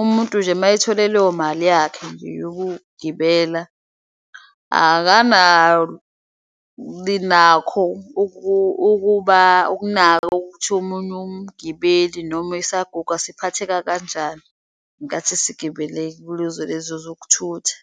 Umuntu nje mayethole leyo mali yakhe nje yokugibela akanabinakho ukuba ukunakwa ukuthi omunye umgibeli noma isaguga siphatheka kanjani ngenkathi sigibele kuzo lezo zokuthutha.